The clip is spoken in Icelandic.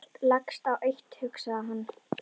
Allt leggst á eitt hugsaði hann.